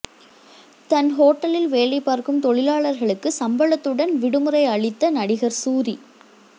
தன் ஓட்டலில் வேலை பார்க்கும் தொழிலாளர்களுக்கு சம்பளத்துடன் விடுமுறை அளித்த நடிகர் சூரி